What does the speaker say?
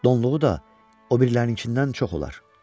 Donluğu da o birilərinkindən çox olar.